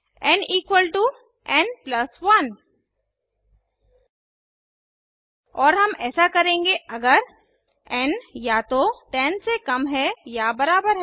N equal to N plus 1 और हम ऐसा करेंगे अगर एन या तो 10 से कम है या बराबर है